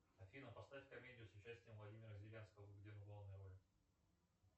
афина поставь комедию с участием владимира зеленского где он в главной роли